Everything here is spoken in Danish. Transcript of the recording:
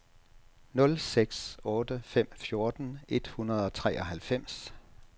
nul seks otte fem fjorten et hundrede og treoghalvfems